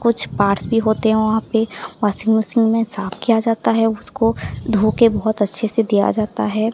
कुछ पास ही होते हैं वहां पे वाशिंग मशीन में साफ किया जाता है उसको धोके बहोत अच्छे से दिया जाता है।